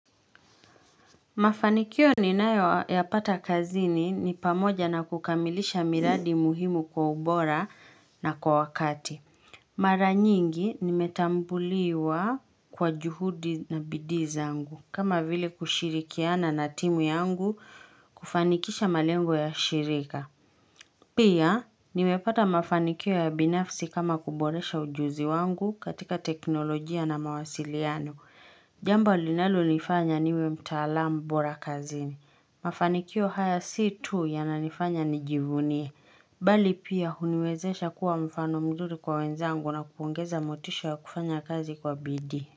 Mafanikio ninayoyapata kazini ni pamoja na kukamilisha miradi muhimu kwa ubora na kwa wakati. Mara nyingi nimetambuliwa kwa juhudi na bidii zangu. Kama vile kushirikiana na timu yangu kufanikisha malengo ya shirika. Pia nimepata mafanikio ya binafsi kama kuboresha ujuzi wangu katika teknolojia na mawasiliano. Jambo linalonifanya niwe mtaalam bora kazini. Mafanikio haya si tu yananifanya nijivunie. Bali pia huniwezesha kuwa mfano mzuru kwa wenzangu na kuongeza motisha ya kufanya kazi kwa bidii.